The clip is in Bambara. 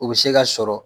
U bɛ se ka sɔrɔ